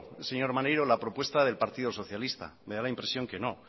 señor maneiro la propuesta del partido socialista me da la impresión que no